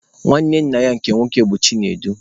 Nwanne nna ya nke nwoke bụ Chinedu.